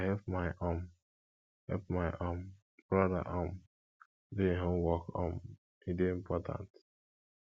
i go help my um help my um brother um do him homework um e dey important